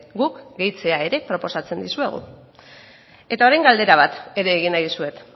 guk gehitzea ere proposatzen dizuegu eta orain galdera bat ere egin nahi dizuet